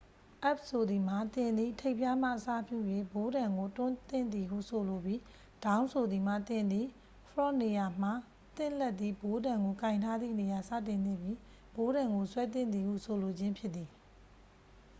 up ဆိုသည်မှာ သင်သည် ထိပ်ဖျားမှ အစပြု၍ ဘိုးတံကို တွန်းသင့်သည်ဟု ဆိုလိုပြီး down ဆိုသည်မှာ သင်သည် ဖရော့ဂ်နေရာမှ သင့်လက်သည် ဘိုးတံကို ကိုင်ထားသည့်နေရာ စတင်သင့်ပြီး ဘိုးတံကို ဆွဲသင့်သည်ဟု ဆိုလိုခြင်းဖြစ်သည်။